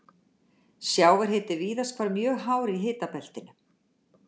Sjávarhiti er víðast hvar mjög hár í hitabeltinu.